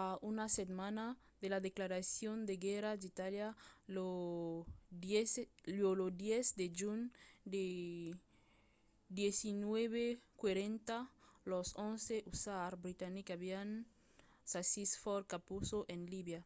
a una setmana de la declaracion de guèrra d’itàlia lo 10 de junh de 1940 los 11th hussars britanics avián sasit fort capuzzo en libia